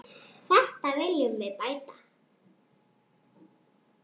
Þetta viljum við bæta.